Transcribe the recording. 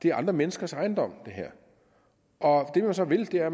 er andre menneskers ejendom og det man så vil er